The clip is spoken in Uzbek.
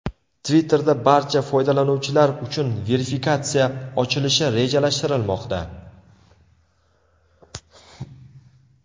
Twitter’da barcha foydalanuvchilar uchun verifikatsiya ochilishi rejalashtirilmoqda.